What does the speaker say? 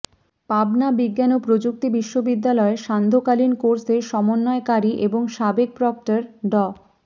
পাবনা বিজ্ঞান ও প্রযুক্তি বিশ্ববিদ্যালয়ের সান্ধ্যকালীন কোর্সের সমন্বয়কারী এবং সাবেক প্রক্টর ড